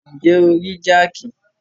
Ǹjẹ́ o rí jáàkì?